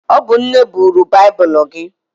Ọ bụ nne buru baibulu gị.